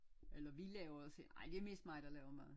Eller vi laver det selv ej det mest mig der laver mad